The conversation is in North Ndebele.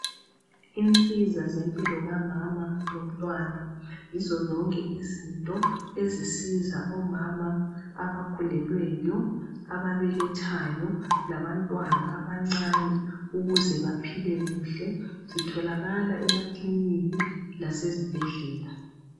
Insiza zempilo kamama lomntwana. Yizo zonke izinto ezisiza omama abakhulelweyo, ababelethayo labantwana abancane ukuzephaphile kuhle. Zitholakala emakiliniki lasezibhedlela.